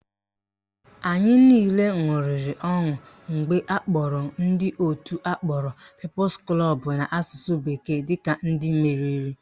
Anyị niile ṅụrịrị ọṅụ mgbe akpọrọ ndị òtù akpọrọ Peoples Club n'asụsụ bekee dịka ndị meriri